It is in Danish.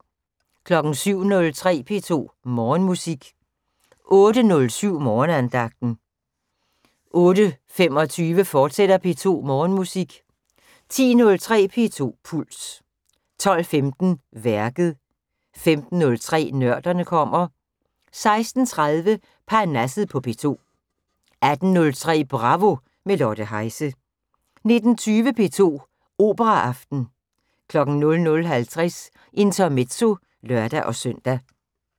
07:03: P2 Morgenmusik 08:07: Morgenandagten 08:25: P2 Morgenmusik, fortsat 10:03: P2 Puls 12:15: Værket 15:03: Nørderne kommer 16:30: Parnasset på P2 18:03: Bravo - med Lotte Heise 19:20: P2 Operaaften 00:50: Intermezzo (lør-søn)